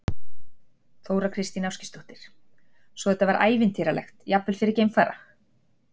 Þóra Kristín Ásgeirsdóttir: Svo þetta var ævintýralegt, jafnvel fyrir geimfara?